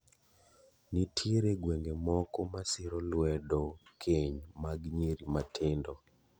Nitiere gweng'e moko ma siro luedo keny mag nyiri matindo.